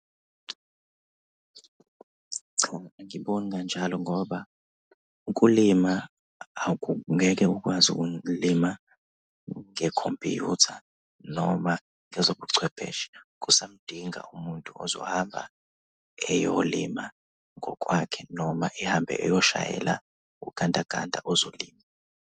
Cha, angiboni kanjalo ngoba ukulima ngeke ukwazi ukulima ngekhompuyutha noma ngezobuchwepheshe. Kusamudinga umuntu ozohamba eyolima ngokwakhe noma ehambe eyoshayela ugandaganda ozolima.